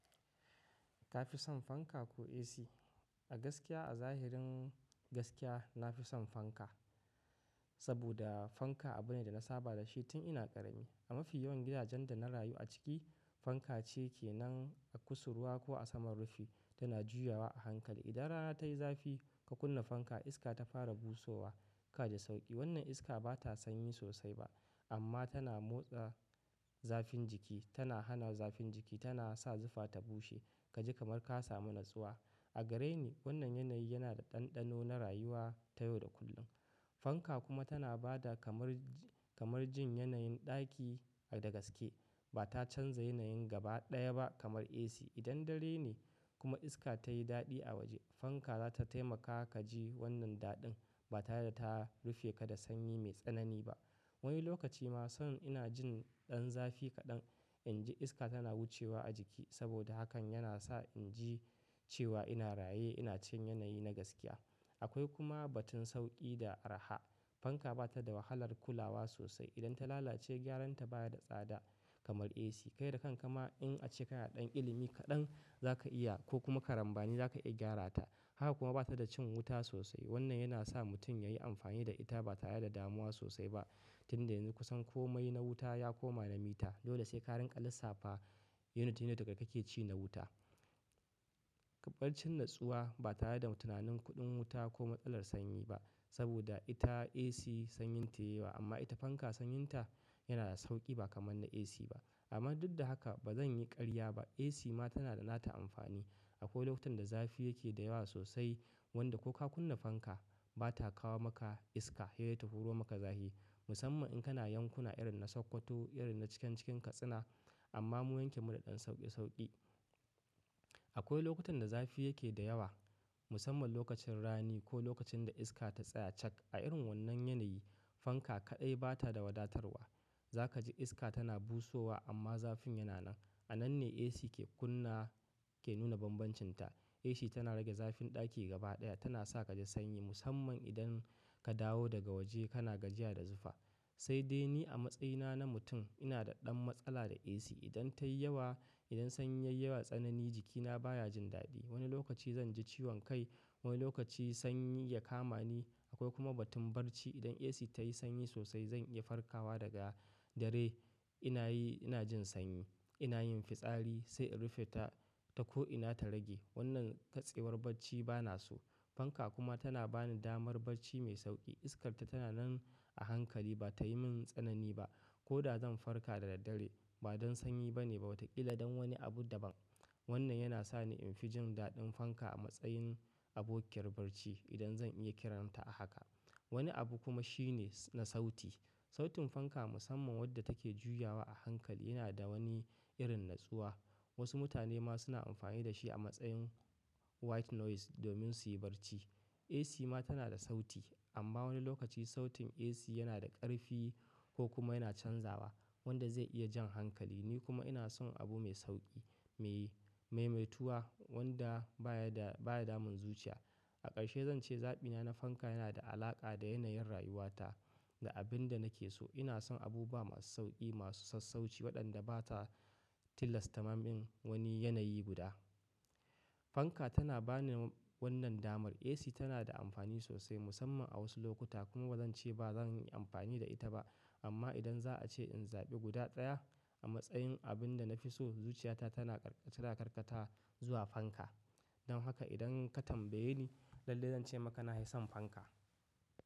Ka fi son fanka ko AC? A gaskiya a zahirin gaskiya, na fi son fanka. Saboda fanka abu ne da na saba da shi tun ina ƙarami. A mafi yawan gidajen da na rayu a ciki, fanka ce ke nan a kusurwa ko a saman rufi tana juyawa a hankali. Idan rana tayi zafi ka kunna fanka, iska ta fara busowa ka ji sauƙi. Wannan iska bata sanyi sosai ba amma tana motsa zafin jiki, tana hana zafin jiki, tana sa zufa ta bushe ka ji kamar ka sami natsuwa. A gare ni wannan yanayi yana da ɗanɗano na rayuwa ta yau da kullum. Fanka kuma tana ba da kamar, kamar jin yanayin ɗaki a da gaske. Bata canza yanayin gaba ɗaya ba kamar AC. Idan dare ne kuma iska ta yi daɗi a waje, fanka za ta taimaka ka ji wannan daɗin. Bata yarda ta rufe ka da sanyi mai tsanani ba. Wani lokaci ma son ina jin ɗan zafi kaɗan in ji iska tana wucewa a jiki saboda hakan yana sa in ji cewa ina raye, ina cin yanayi na gaskiya. Akwai kuma batun sauƙi da araha. Fanka bata da wahalar kulawa sosai. Idan ta lalace, gyaran ta baya da tsada kamar AC. Kai da kan ka ma in ace ka na ɗan ilimi kaɗan za ka iya ko kuma ka rambani za ka iya gyara ta. Haka kuma bata da cin wuta sosai. Wannan yana sa mutum ya yi amfani da ita ba tare da damuwa sosai ba tunda yanzu kusan komai na wuta ya koma na mita. Dole sai karen ƙalissafa unit ɗin da ka ke ci na wuta. Barcin natsuwa ba tare da tunanin kuɗin wuta ko matsalar sanyi ba saboda ita AC sanyin ta yawa amma ita fanka sanyin ta yana da sauƙi ba kamar na AC ba. Amma duk da haka ba zan yi ƙarya ba. AC ma tana da nata amfani. Akwai lokutan da zafi yake da yawa sosai wanda ko ka kunna fanka bata kawo maka iska sai dai ta huro maka zafi. Musamman in kana yankuna irin na Sokoto, irin na cikin cikin Katsina. Amma mu yanke mu da ɗan sauƙe sauƙi. Akwai lokutan da zafi yake da yawa musamman lokacin rani ko lokacin da iska ta tsaya cak. A irin wannan yanayi, fanka kaɗai bata da wadatarwa. Za ka ji iska tana busowa amma zafin yana nan. A nan ne AC ke kunna, ke nuna banbancin ta. AC tana rage zafin ɗaki gaba ɗaya, tana sa ka ji sanyi musamman idan ka dawo daga waje kana gajiya da zufa. Sai dai ni a matsayina na mutum ina da ɗan matsala da AC. Idan ta yi yawa, idan sanyi yayi yawa, tsanani jikina baya jin daɗi. Wani lokaci zan ji ciwon kai, wani lokaci sanyi ya kama ni. Akwai kuma batun barci. Idan AC ta yi sanyi sosai zan iya farkawa daga dare. Ina yi, ina jin sanyi, ina yin fitsari sai in rufe ta ko ina ta rage. Wannan katsewar bacci ba na so. Fanka kuma tana bani damar bacci mai sauƙi. Iskarta tana nan a hankali ba tayi min tsanani ba koda zan farka da daddare. Ba don sanyi ba ne ba wataƙila don wani abu daban. Wannan yana sa ni in fi jin daɗin fanka a matsayin abokiyar bacci idan zan iya kiranta a haka. Wani abu kuma shine na sauti. Sautin fanka musamman wadda take juyawa a hankali yana da wani irin natsuwa. Wasu mutane ma suna amfani da shi a matsayin white noise domin su yi bacci. AC ma tana da sauti amma wani lokaci sautin AC yana da ƙarfi ko kuma yana canzawa wanda zai iya jan hankali. Ni kuma ina son abu mai sauƙi, mai, mai maituwa wanda baya da, baya damun zuciya. A ƙarshe zan ce zaɓina na fanka yana da alaƙa da yanayin rayuwata, da abin da nake so. Ina son abu ba masu sauƙi, masu sassauci waɗanda bata tillasta min wani yanayi guda. Fanka tana bani wannan damar. AC tana da amfani sosai musamman a wasu lokuta kuma ba zan ce ba zan yi amfani da ita ba. Amma idan za a ce in zaɓi guda ɗaya a matsayin abin da na fi so, zuciyata tana ƙarƙata, ƙarƙata zuwa fanka. Don haka idan ka tambaye ni lalle zan ce maka na yi son fanka.